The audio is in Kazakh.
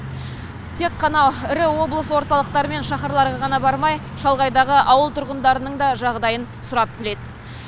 тек қана ірі облыс орталықтары мен шаһарларға ғана бармай шалғайда жатқан ауыл аймақ тұрғындарының да жағдайын сұрап біледі